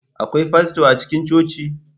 Akwai fasto a cikin coci?